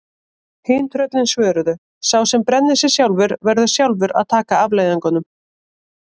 Hin tröllin svöruðu: Sá sem brennir sig sjálfur, verður sjálfur að taka afleiðingunum